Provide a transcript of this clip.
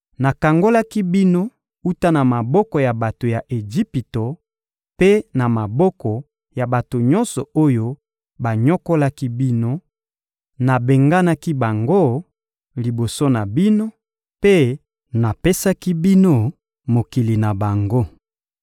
Nakangolaki bino wuta na maboko ya bato ya Ejipito mpe na maboko ya bato nyonso oyo banyokolaki bino; nabenganaki bango liboso na bino mpe napesaki bino mokili na bango.